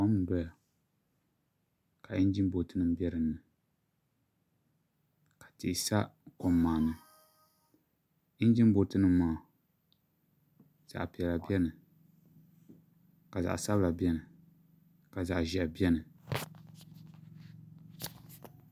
Kom n doya ka injin booti nim bɛ dinni ka tihi sa kom maa ni injin booti nim maa zaɣ piɛla bɛni ka zaɣ sabila biɛni ka zaɣ ʒiɛhi biɛni